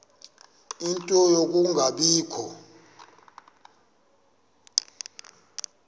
ie nto yokungabikho